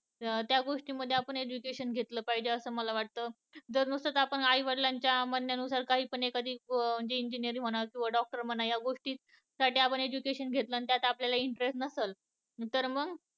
त्या गोष्टी मध्ये आपण education घेतल पाहिजे असं मला वाटत. जर नुसत आपण आई वडिलांचे म्हणण्यानुसार काही पण एखादी म्हणजे engineer म्हणा किंवा doctor म्हणा तीच साठी आपण education घेतलं आणि आपल्याला interest नसेल तर मग